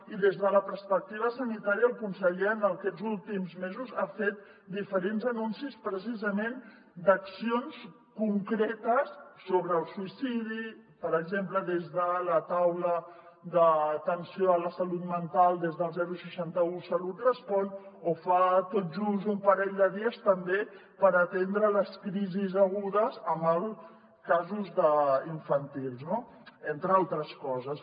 i des de la perspectiva sanitària el conseller en aquests últims mesos ha fet diferents anuncis precisament d’accions concretes sobre el suïcidi per exemple des de la taula d’atenció a la salut mental des del seixanta un salut respon o fa tot just un parell de dies també per atendre les crisis agudes en casos infantils no entre altres coses